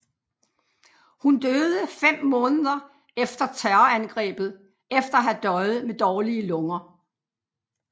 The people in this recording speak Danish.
Hun døde fem måneder efter terrorangrebet efter at have døjet med dårlige lunger